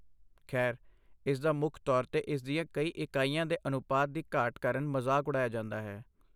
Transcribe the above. ਖੈਰ, ਇਸਦਾ ਮੁੱਖ ਤੌਰ 'ਤੇ ਇਸ ਦੀਆਂ ਕਈ ਇਕਾਈਆਂ ਦੇ ਅਨੁਪਾਤ ਦੀ ਘਾਟ ਕਾਰਨ ਮਜ਼ਾਕ ਉਡਾਇਆ ਜਾਂਦਾ ਹੈ।